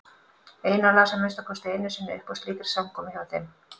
Einar las að minnsta kosti einu sinni upp á slíkri samkomu hjá þeim.